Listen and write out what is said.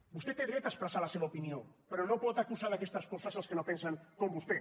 vostè té dret a expressar la seva opinió però no pot acusar d’aquestes coses els que no pensen com vostè